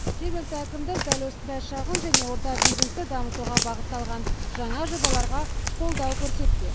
жергілікті әкімдік дәл осындай шағын және орта бизнесті дамытуға бағытталған жаңа жобаларға қолдау көрсетпек